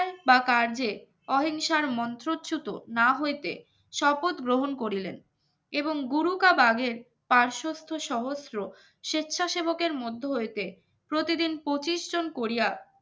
বা কাজে অহিংসার মন্ত্রচুতো না হইতে শপথ গ্রহণ করিলেন এবং গুরু কাবাগের পার্শ্বস্থ সহস্র স্বেচ্ছাসেবক এর মধ্য হয়েছে প্রতিদিন পঁচিশ জন করিযা